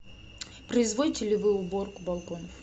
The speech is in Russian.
производите ли вы уборку балконов